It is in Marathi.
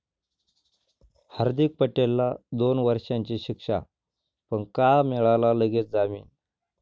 हार्दीक पटेलला दोन वर्षींची शिक्षा, पण का मिळाला लगेच जामीन?